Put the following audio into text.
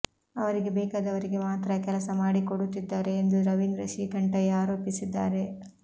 ಅವರಿಗೆ ಬೇಕಾದವರಿಗೆ ಮಾತ್ರ ಕೆಲಸ ಮಾಡಿಕೊಡುತ್ತಿದ್ದಾರೆ ಎಂದು ರವೀಂದ್ರ ಶ್ರೀಕಂಠಯ್ಯ ಆರೋಪಿಸಿದ್ದಾರೆ